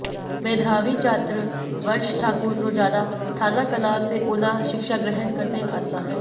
मेधावी छात्र वंश ठाकुर रोजाना थानाकलां से ऊना शिक्षा ग्रहण करने आता है